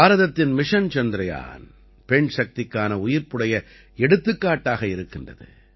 பாரதத்தின் மிஷன் சந்திரயான் பெண் சக்திக்கான உயிர்ப்புடைய எடுத்துக்காட்டாக இருக்கின்றது